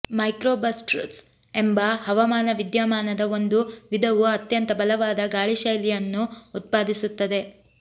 microbursts ಎಂಬ ಹವಾಮಾನ ವಿದ್ಯಮಾನದ ಒಂದು ವಿಧವು ಅತ್ಯಂತ ಬಲವಾದ ಗಾಳಿಶೈಲಿಯನ್ನು ಉತ್ಪಾದಿಸುತ್ತದೆ